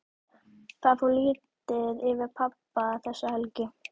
Það fór lítið fyrir pabba þessa helgi.